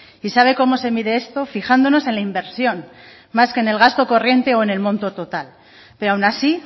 y sabe cómo se mide esto fijándonos en la inversión más que en el gasto corriente o en el monto total pero aun así